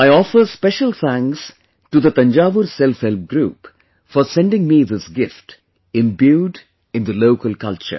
I offer special thanks to the Thanjavur SelfHelp Group for sending me this gift imbued in the local culture